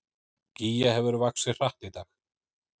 Gígja hefur vaxið hratt í dag